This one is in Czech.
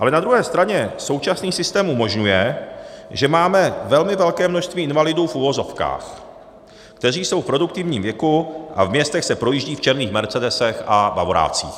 Ale na druhé straně současný systém umožňuje, že máme velmi velké množství invalidů v uvozovkách, kteří jsou v produktivním věku a v městech se projíždějí v černých mercedesech a bavorácích.